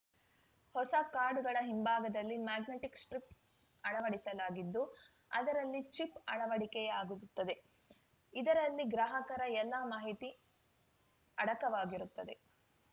ಹೊಸ ಕಾರ್ಡ್‌ಗಳ ಹಿಂಭಾಗದಲ್ಲಿ ಮ್ಯಾಗ್ನೆಟಿಕ್‌ ಸ್ಟ್ರಿಪ್‌ ಅಳವಡಿಸಲಾಗಿದ್ದು ಅದರಲ್ಲಿ ಚಿಪ್‌ ಅಳವಡಿಕೆಯಾಗಿರುತ್ತದೆ ಇದರಲ್ಲಿ ಗ್ರಾಹಕರ ಎಲ್ಲಾ ಮಾಹಿತಿ ಅಡಕವಾಗಿರುತ್ತದೆ